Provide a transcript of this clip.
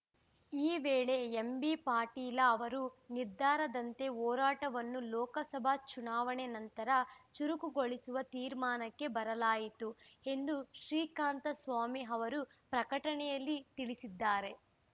ಈ ವೇಳೆ ಎಂಬಿಪಾಟೀಲ ಅವರ ನಿರ್ಧಾರದಂತೆ ಹೋರಾಟವನ್ನು ಲೋಕಸಭಾ ಚುನಾವಣೆ ನಂತರ ಚುರುಕುಗೊಳಿಸುವ ತೀರ್ಮಾನಕ್ಕೆ ಬರಲಾಯಿತು ಎಂದು ಶ್ರೀಕಾಂತ ಸ್ವಾಮಿ ಅವರು ಪ್ರಕಟಣೆಯಲ್ಲಿ ತಿಳಿಸಿದ್ದಾರೆ